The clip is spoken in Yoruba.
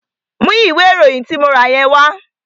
Mú ìwé ìròyìn tí mo rà yẹn wá!